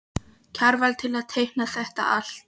Kjarval til að teikna þetta allt.